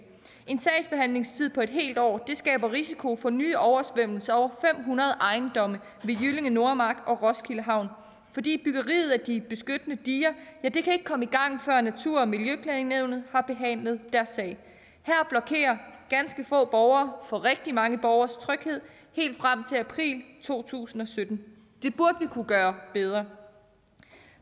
en sagsbehandlingstid på et helt år skaber risiko for nye oversvømmelser for over fem hundrede ejendomme ved jyllinge nordmark og roskilde havn fordi byggeriet af de beskyttende diger ikke kan komme i gang før natur og miljøklagenævnet har behandlet deres sag her blokerer ganske få borgere for rigtig mange borgeres tryghed helt frem til april to tusind og sytten det burde vi kunne gøre bedre